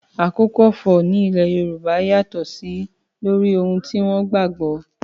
Àkókò ọ̀fọ̀ ní ilẹ̀ Yorùbá yàtọ̀ sí lórí ohun tí wọ́n gbà gbọ́